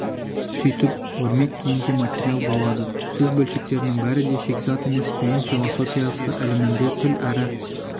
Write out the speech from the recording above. сөйтіп өрмек киімге материал болады сөз бөлшектерінің бәрі де шикізат емес бұйым философия ілімінде тіл әрі